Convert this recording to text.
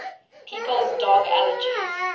people's dog allergies